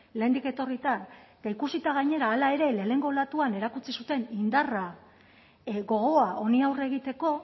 lehendik etorrita eta ikusita gainera hala ere lehenengo olatuan erakutsi zuten indarra gogoa honi aurre egiteko